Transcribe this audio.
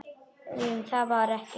GRÍMUR: Var það ekki!